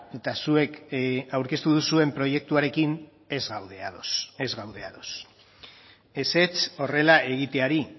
eta zuek aurkeztu duzuen proiektuarekin ez gaude ados ez gaude ados ezetz horrela egiteari